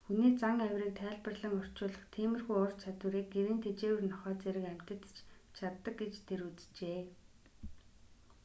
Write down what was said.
хүний зан авирыг тайлбарлан орчуулах тиймэрхүү ур чадварыг гэрийн тэжээвэр нохой зэрэг амьтад ч чаддаг гэж тэр үзжээ